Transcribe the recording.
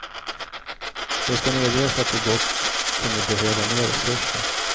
Det skall medges att vi gott kunde behöva mer resurser.